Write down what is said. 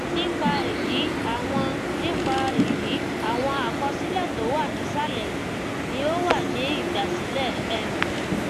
nípa èyí àwọn nípa èyí àwọn àkọsílè tó wà nísàlè yìí ni ó wà ní ìgbàsílẹ um